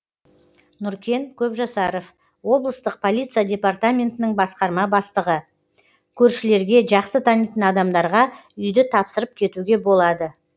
нұркен көпжасаров облыстық полиция департаментінің басқарма бастығы көршілерге жақсы танитын адамдарға үйді тапсырып кетуге болады